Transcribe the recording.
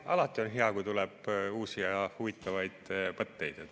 Alati on hea, kui tuleb uusi ja huvitavaid mõtteid.